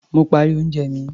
Mo parí oúnjẹ mi.